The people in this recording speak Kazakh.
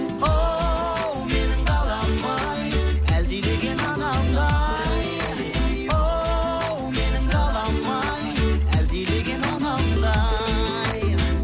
оу менің далам ай әлдилеген анамдай оу менің далам ай әлдилеген анамдай